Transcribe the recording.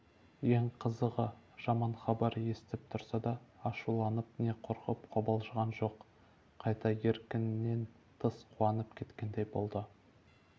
ең қызығы жаман хабар естіп тұрса да ашуланып не қорқып-қобалжыған жоқ қайта еркінен тыс қуанып кеткендей болды